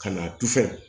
Ka na tu fɛ